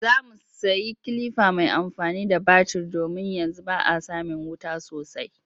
Za mu sayi kilifa mai amfani da batir domin yanzu ba a samin wuta sosai